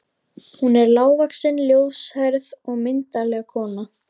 Hún er hávaxin, ljóshærð og myndarleg kona.